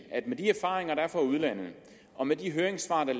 at med de erfaringer der er fra udlandet og med de høringssvar der